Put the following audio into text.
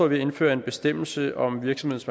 vi at indføre en bestemmelse om virksomheders